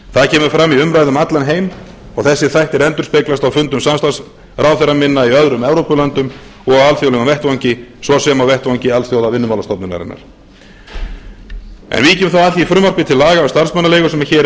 það kemur fram í umræðu um allan heim og þessir þættir endurspeglast á fundum samstarfsráðherra minna í öðrum evrópulöndum og á alþjóðlegum vettvangi svo sem á vettvangi alþjóðavinnumálastofnunarinnar en víkjum þá að því frumvarpi til laga um starfsmannaleigur sem hér er